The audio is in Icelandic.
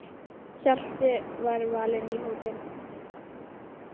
Hjalti var valinn í hópinn.